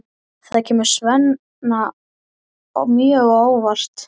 Það kemur Svenna mjög á óvart.